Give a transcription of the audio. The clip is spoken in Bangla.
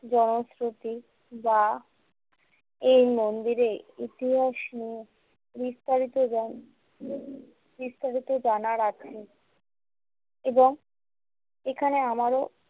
জনখ্যাতি বা এই মন্দিরেই ইতিহাস নিয়ে বিস্তারিত জানার আগ্রেহে এবং এখানে আমারও।